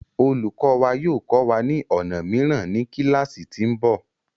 Olùkọ wa yóò kọ́ wa ni ọnà mìíràn ní kíláásì tí ń bọ̀.